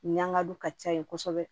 Ɲangadu ka ca yen kosɛbɛ